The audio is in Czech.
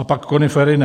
A pak konifery ne.